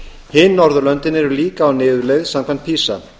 hin norðurlöndin eru líka á niðurleið samkvæmt pisa